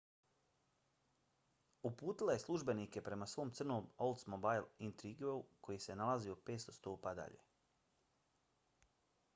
uputila je službenike prema svom crnom oldsmobile intrigueu koji se nalazio 500 stopa dalje